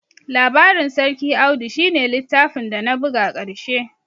Labarin sarki Audu shi ne littafin dana buga ƙarshe